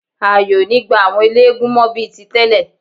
Ààyè ò gba àwọn eléégún mọ́ bí i tí tẹ́lẹ̀.